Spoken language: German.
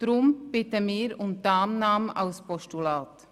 Deshalb bitten wir um Annahme als Postulat.